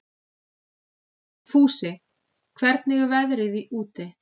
Fúsi, hvernig er veðrið úti?